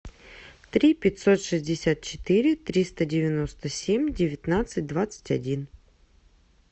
три пятьсот шестьдесят четыре триста девяносто семь девятнадцать двадцать один